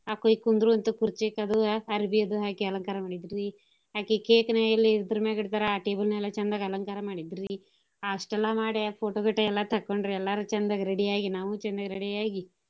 ಆಕಿ ಕುಂದ್ರು ಅಂತ ಕುರ್ಚಿ ತೆಗ್ದು ಅರ್ಬಿ ಅದು ಹಾಕಿ ಅಲಂಕಾರ ಮಾಡಿದ್ರ ರಿ ಅಕಿ cake ನ ಎಲ್ಲೆ ಇತರ್ ಮ್ಯಾಗ್ ಇಡ್ತಾರ ಆ table ನ ಎಲ್ಲಾ ಚಂದಗ ಅಲಂಕಾರ ಮಾಡಿದ್ರ್ ರಿ. ಅಷ್ಟೆಲ್ಲಾ ಮಾಡಿ photo ಗೀಟೊ ಎಲ್ಲಾ ತಕೋಂಡ್ರು ಎಲ್ಲಾರೂ ಚಂದಗ ready ಆಗಿ, ನಾವಂಚೂರ್ ready ಆಗಿ.